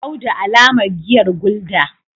audu alamar giyar gulder